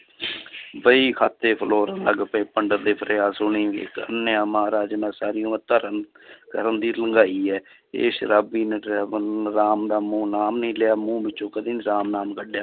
ਵਹੀ ਖਾਤੇ ਫਲੋਰਨ ਲੱਗ ਪਏ ਪੰਡਿਤ ਦੇ ਫਰਿਆਦ ਸੁਣੀ ਮਹਾਰਾਜ ਮੈਂ ਸਾਰੀ ਉਮਰ ਧਰਮ ਇਹ ਸ਼ਰਾਬੀ ਨੇ driver ਰਾਮ ਦਾ ਮੂੰਹ ਨਾਮ ਨੀ ਲਿਆ ਮੂੰਹ ਵਿੱਚੋਂ ਕਦੇ ਰਾਮ ਨਾਮ ਕੱਢਿਆ